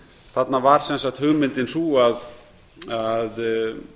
þarna var sem sagt hugmyndin sú að